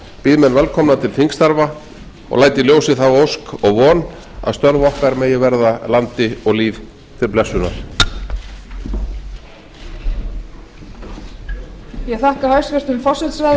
býð menn velkomna til þingstarfa og læt í ljósi þá ósk og von að störf okkar megi verða landi og lýð til blessunar